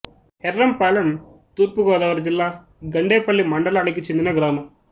యెర్రంపాలెం తూర్పు గోదావరి జిల్లా గండేపల్లి మండలానికి చెందిన గ్రామం